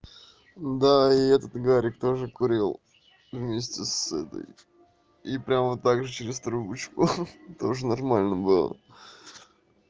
да и этот гарик тоже курил вместе с этой и прямо вот так же через трубочку тоже нормально было